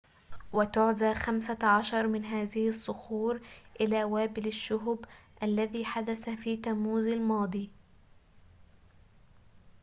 وتُعزى خمسة عشر من هذه الصخور إلى وابل الشهب الذي حدث في تموز الماضي